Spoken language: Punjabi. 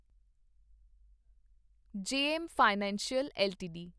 JM financial LTD